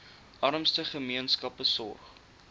armste gemeenskappe sorg